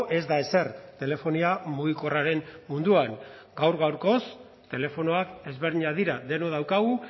ez da ezer telefonia mugikorraren munduan gaur gaurkoz telefonoak ezberdinak dira denok daukagu